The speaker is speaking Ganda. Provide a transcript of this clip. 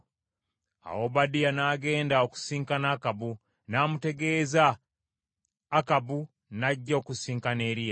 Awo Obadiya n’agenda okusisinkana Akabu, n’amutegeeza; Akabu n’ajja okusisinkana Eriya.